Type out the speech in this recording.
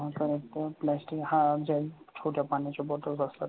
परत plastic छोट्या पाण्याच्या bottles असतात.